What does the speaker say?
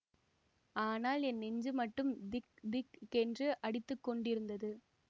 ஆனால் என் நெஞ்சு மட்டும் திக் திக் கென்று அடித்து கொண்டிருந்தது